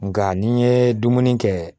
Nga n'i ye dumuni kɛ